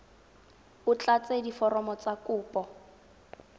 o tlatse diforomo tsa kopo